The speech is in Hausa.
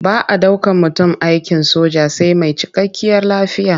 Ba a ɗaukan mutum aikin soja sai mai cikakkiyar lafiya.